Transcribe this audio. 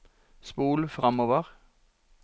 spol framover